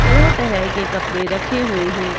तरह तरह के कपड़े रखे हुए हैं।